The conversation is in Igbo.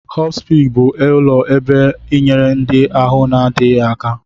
Hospi bụ ụlọ ebe ịnyere ndị ahụ na-adịghi aka.